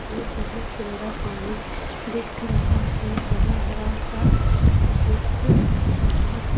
और बहुत सुंदर पानी दिख रहा है हरा-हरा सा दिख रहा --